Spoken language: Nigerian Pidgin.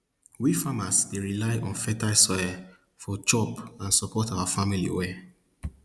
we farmers dey rely on fertile soil for chop and support our family well